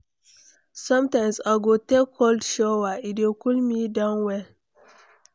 Sometimes I go take cold shower, e dey cool me down well.